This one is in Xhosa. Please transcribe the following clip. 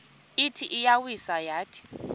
ithi iyawisa yathi